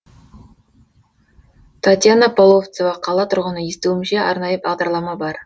татьяна половцева қала тұрғыны естуімше арнайы бағдарлама бар